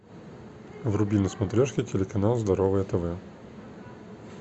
вруби на смотрежке телеканал здоровое тв